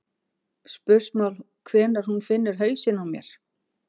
spursmál hvenær hún finnur hausinn á mér.